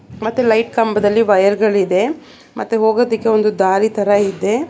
ಮತ್ತೆ ಲೈಟ್ ಕಂಬದಲ್ಲಿ ವೈರ್ ಗಳಿದೆ ಮತ್ತೆ ಹೋಗೋದಿಕ್ಕೆ ಒಂದು ದಾರಿ ತರ ಇದೆ.